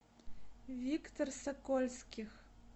виктор сокольских